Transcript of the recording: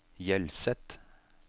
Hjelset